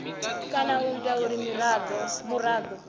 kana u ita uri muraḓo